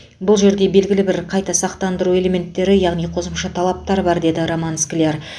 бұл жерде белгілі бір қайта сақтандыру элементтері яғни қосымша талаптар бар деді роман скляр